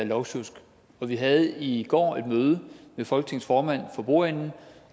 lovsjusk vi havde i går et møde med folketingets formand for bordenden